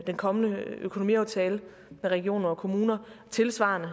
den kommende økonomiaftale med regioner og kommuner og tilsvarende